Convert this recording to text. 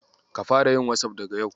Ka fara yin "WhatsApp" daga yau.